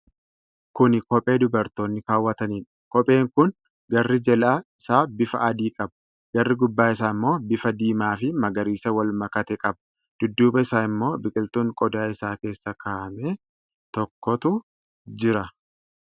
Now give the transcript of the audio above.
Kuni Kophee dubartoonni kaawwataniidha. Kopheen kun garri jalaa isaa bifa adii qaba. Garri gubbaa isaa ammoo bifa diimaa fi magariisa wal makatee qaba. Dudduuba isaa ammoo biqiltuun qodaa isaa keessa kaa'ame tokkotu jira.